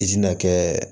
I tɛna kɛ